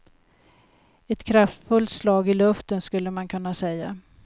Ett kraftfullt slag i luften, skulle man kunna säga.